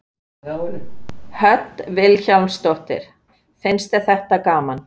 Hödd Vilhjálmsdóttir: Finnst þér það gaman?